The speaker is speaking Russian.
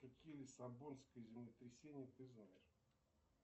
какие лиссабонское землетрясение ты знаешь